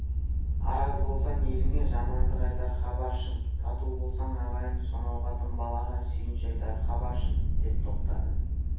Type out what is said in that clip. араз болсаң еліңе жамандық айтар хабаршың тату болсаң ағайын сонау қатын-балаға сүйінші айтар хабаршың деп тоқтады